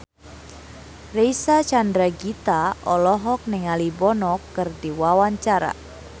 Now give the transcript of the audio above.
Reysa Chandragitta olohok ningali Bono keur diwawancara